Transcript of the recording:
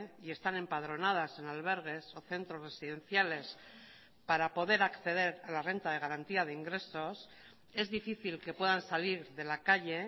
y están empadronadas en albergues o centros residenciales para poder acceder a la renta de garantía de ingresos es difícil que puedan salir de la calle